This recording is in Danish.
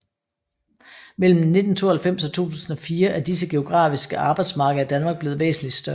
Mellem 1992 og 2004 er disse geografiske arbejdsmarkeder i Danmark blevet væsentligt større